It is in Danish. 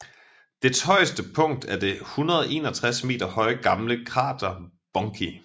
Dets højeste punkt er det 161 meter høje gamle krater Bunki